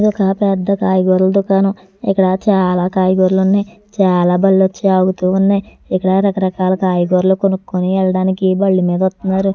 ఇది ఒక పెద్ద కాయగూరల దుకాణం. ఇక్కడ చాలా కాయగూరలు ఉన్నాయ్. చాలా బళ్ళు వచ్చి ఆగుతూ ఉన్నాయ్. ఇక్కడ రకరకాల కాయగూరలు కొనుక్కొని వెళ్లడానికి బళ్ళు మీద వస్తున్నారు.